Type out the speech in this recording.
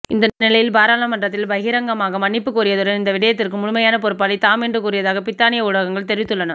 இந்தநிலையில் பாராளுமன்றில் பகிரங்கமாக மன்னிப்பு கோரியதுடன் இந்த விடயத்துக்கு முழுமையான பொறுப்பாளி தாம் என்றும் கூறியதாக பிரித்தானிய ஊடகங்கள் தெரிவித்துள்ளன